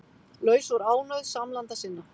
Laus úr ánauð samlanda sinna